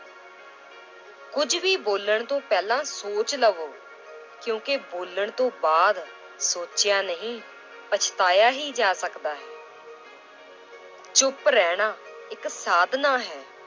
ਕੁੱਝ ਵੀ ਬੋਲਣ ਤੋਂ ਪਹਿਲਾਂ ਸੋਚ ਲਵੋ ਕਿਉਂਕਿ ਬੋਲਣ ਤੋਂ ਬਾਅਦ ਸੋਚਿਆ ਨਹੀਂ ਪਛਤਾਇਆ ਹੀ ਜਾ ਸਕਦਾ ਹੈ ਚੁਪ ਰਹਿਣਾ ਇੱਕ ਸਾਧਨਾ ਹੈ,